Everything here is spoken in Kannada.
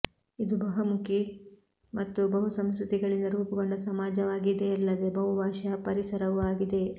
ಇದು ಬಹುಮುಖಿ ಮತ್ತು ಬಹುಸಂಸ್ಕೃತಿಗಳಿಂದ ರೂಪುಗೊಂಡ ಸಮಾಜವಾಗಿದೆಯಲ್ಲದೆ ಬಹುಭಾಷಾ ಪರಿಸರವೂ ಆಗಿದೆ